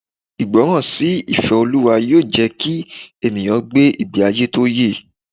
Ìgbọràn sí ìfẹ́ Ọlọ́run yóò jẹ́ kí ènìyàn gbé ìgbé ayé tó yẹ.